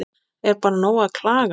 Er bara nóg að klaga?